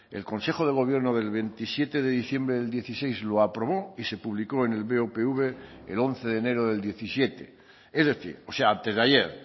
el consejo de gobierno del veintisiete de diciembre del dieciséis lo aprobó y se publicó en el bopv el once de enero del diecisiete es decir o sea antes de ayer